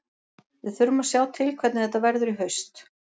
Við þurfum að sjá til hvernig þetta verður í haust.